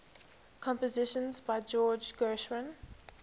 compositions by george gershwin